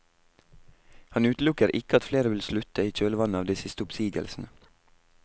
Han utelukker ikke at flere vil slutte i kjølvannet av de siste oppsigelsene.